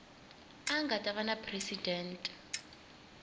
a nga ta va presidente